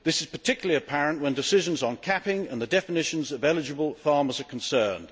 This is particularly apparent when decisions on capping and the definitions of eligible farmers' are concerned.